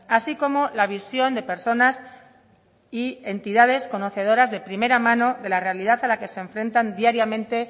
así como la visión de personas y entidades conocedoras de primera mano de la realidad a la que se enfrentan diariamente